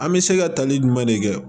An bɛ se ka tali jumɛn de kɛ